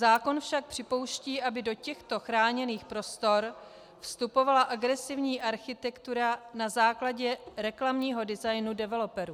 Zákon však připouští, aby do těchto chráněných prostor vstupovala agresivní architektura na základě reklamního designu developerů.